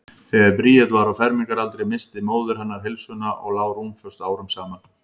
Þegar Bríet var á fermingaraldri missti móðir hennar heilsuna og lá rúmföst árum saman.